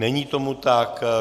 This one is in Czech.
Není tomu tak.